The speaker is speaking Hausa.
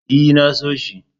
E, na so shi.